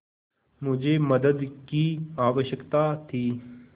मुझे मदद की आवश्यकता थी